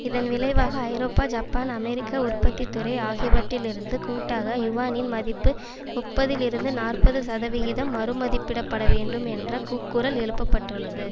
இதன் விளைவாக ஐரோப்பா ஜப்பான் அமெரிக்க உற்பத்தி துறை ஆகியவற்றிலிருந்து கூட்டாக யுவானின் மதிப்பு முப்பதுலிருந்து நாற்பது சதவிகிதம் மறுமதிப்பிடப்படவேண்டும் என்ற கூக்குரல் எழுப்பப்பட்டுள்ளது